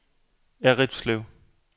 Errindlev